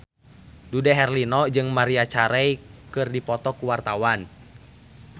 Dude Herlino jeung Maria Carey keur dipoto ku wartawan